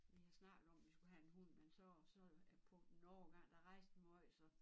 Vi har snakket om vi skulle have en hund men så så på en årgang der rejste vi måj så